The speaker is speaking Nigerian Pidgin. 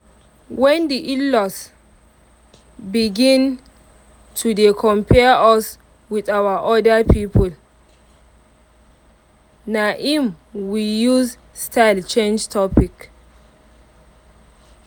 when the in-laws begin to dey compare us with our other people na im we use style change topic